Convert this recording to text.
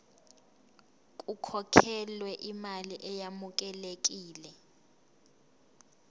kukhokhelwe imali eyamukelekile